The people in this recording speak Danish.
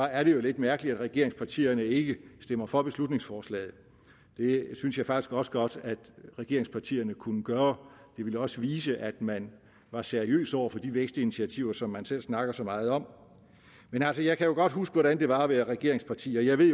er det jo lidt mærkeligt at regeringspartierne ikke stemmer for beslutningsforslaget det synes jeg faktisk også godt at regeringspartierne kunne gøre det ville også vise at man var seriøs over for de vækstinitiativer som man selv snakker så meget om men altså jeg kan jo godt huske hvordan det var at være regeringsparti og jeg ved